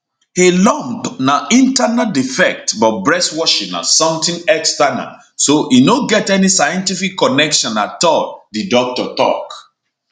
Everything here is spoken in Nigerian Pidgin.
a lump na internal defect but breast washing na somtin external so e no get any scientific connection at all di doctor tok